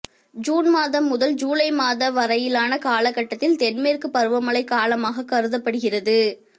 June மாதம் முதல் July மாத வரையிலான காலகட்டத்தில் தென்மேற்குப் பருவமழை காலமாகக் கருதப்படுகிறது